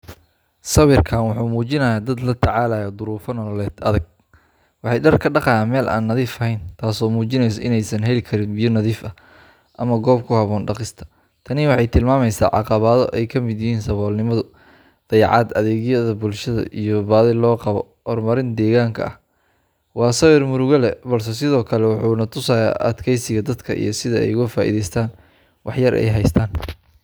Sawirkani wuxuu muujinayaa dad la tacaalaya duruufo nololeed adag. Waxay dhar ka dhaqayaan meel aan nadiif ahayn, taasoo muujinaysa in aysan heli karin biyo nadiif ah ama goob ku habboon dhaqista. Tani waxay tilmaamaysaa caqabado ay ka mid yihiin saboolnimo, dayacaad adeegyada bulsho, iyo baahi loo qabo horumarin deegaanka ah. Waa sawir murugo leh, balse sidoo kale wuxuu na tusayaa adkaysiga dadka iyo sida ay uga faa’iidaystaan waxa yar ee ay haystaan.